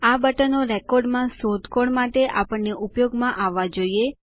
આ બટનો રેકોર્ડોમાં શોધખોળ માટે અમને ઉપયોગમાં આવવા જોઈએ